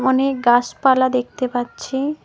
অনেক গাসপালা দেখতে পাচ্ছি।